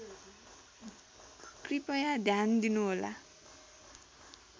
कृपया ध्यान दिनुहोला